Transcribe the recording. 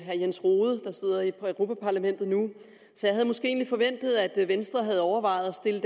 herre jens rohde der sidder i europa parlamentet nu så jeg havde måske egentlig forventet at venstre havde overvejet at stille